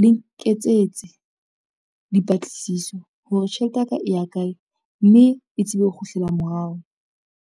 le nketsetse dipatlisiso hore tjhelete ya ka e ya kae, mme e tsebe ho kgutlela morao.